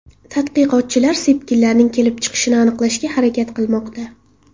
Tadqiqotchilar sepkillarning kelib chiqishini aniqlashga harakat qilmoqda.